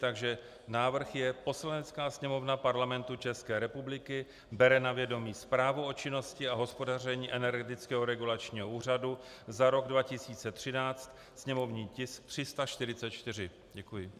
Takže návrh je: "Poslanecká sněmovna Parlamentu České republiky bere na vědomí Zprávu o činnosti a hospodaření Energetického regulačního úřadu za rok 2013, sněmovní tisk 344." Děkuji.